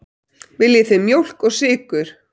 Viljið þið mjólk og sykur?